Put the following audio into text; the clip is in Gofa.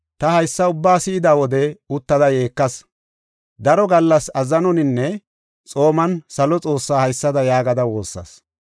Ta haysa ubbaa si7ida wode uttada yeekas. Daro gallas azzanoninne xooman salo Xoossaa haysada yaagada woossas.